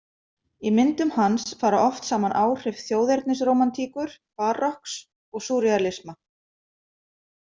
Í myndum hans fara oft saman áhrif þjóðernisrómantíkur, barokks og súrrealisma.